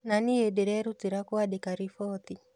Na niĩ nderutĩra kũandĩka riboti.